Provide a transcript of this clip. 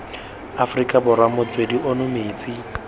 afrika borwa motswedi ono metsi